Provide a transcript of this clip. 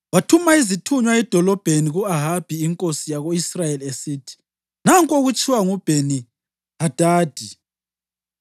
Wathuma izithunywa edolobheni ku-Ahabi inkosi yako-Israyeli, esithi, “Nanku okutshiwo nguBheni-Hadadi: